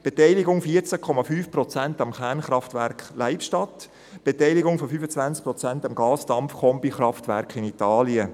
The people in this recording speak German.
Eine Beteiligung von 14,5 Prozent am Kernkraftwerk Leibstadt, eine Beteiligung von 25 Prozent am Gasund-Dampf-Kombikraftwerk in Italien.